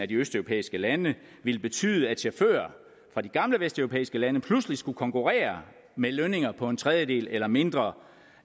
de østeuropæiske lande ville betyde at chauffører fra de gamle vesteuropæiske lande pludselig skulle konkurrere med lønninger på en tredjedel eller mindre